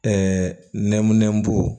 Ɛɛ nɛmɛnbo